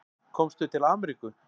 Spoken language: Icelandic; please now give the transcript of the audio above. Komstu til Ameríku?